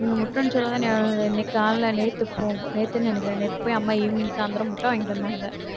நீங்க முட்டைன்னு சொல்லவும் தான் நியாபக~ இன்னைக்கு காலையில நேத்து போ~ நேத்துன்னு நினைக்கிறேன் நேத்து போய் அம்மா evening சாயிந்தரம் முட்டை வாங்கிட்டு வந்தாங்க